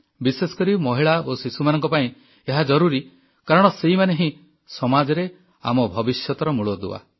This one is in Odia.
ବିଶେଷକରି ମହିଳା ଓ ଶିଶୁମାନଙ୍କ ପାଇଁ ଏହା ଜରୁରୀ କାରଣ ସେଇମାନେ ହିଁ ସମାଜରେ ଆମ ଭବିଷ୍ୟତର ମୂଳଦୁଆ